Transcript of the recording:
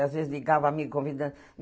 Às vezes ligava o amigo convidando.